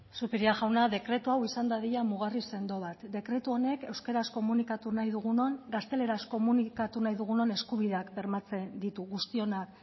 zupiria jauna dekretu hau izan dadila mugarri sendo bat dekretu honek euskaraz komunikatu nahi dugunon gazteleraz komunikatu nahi dugunon eskubideak bermatzen ditu guztionak